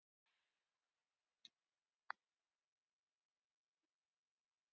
"""Pésa, en rak hann heim."""